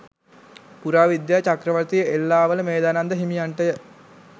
පුරාවිද්‍යා චක්‍රවර්ති එල්ලාවල මේධානන්ද හිමියන්ට ය.